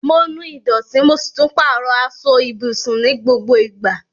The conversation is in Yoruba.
Mo nu ìdọ̀tí, mo si tun pàrọ aso ibùsùn ni gbogbo ìgbà